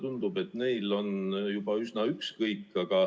Tundub, et neil on juba üsna ükskõik.